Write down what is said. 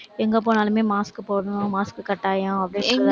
எங்க போனாலுமே mask போடணும் mask கட்டாயம் அப்படி~